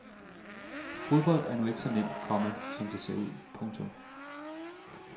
Fodbold er nu ikke så nemt, komma som det ser ud. punktum